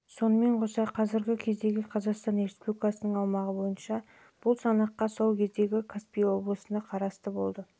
сонымен қоса қазіргі кездегі қазақстан республикасының аумағы бойынша бұл санаққа сол кездегі закаспий облысына қарасты болған